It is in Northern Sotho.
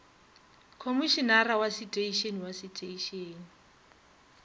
khomošenare wa seteišene wa seteišene